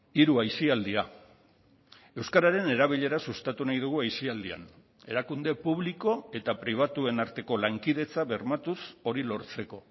hiru aisialdia euskararen erabilera sustatu nahi dugu aisialdian erakunde publiko eta pribatuen arteko lankidetza bermatuz hori lortzeko